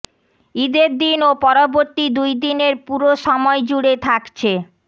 ঈদের দিন ও পরবর্তী দুইদিনের পুরো সময় জুড়ে থাকছে